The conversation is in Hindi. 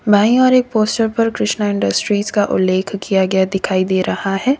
भाई और एक पोस्टर पर कृष्णा इंडस्ट्रीज का उल्लेख किया गया दिखाई दे रहा है।